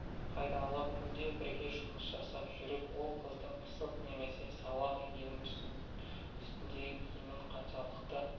пайдалы күнде бірге жұмыс жасап жүріп ол қыздың пысық немесе салақ екенін үстіндегі киімінің қаншалықты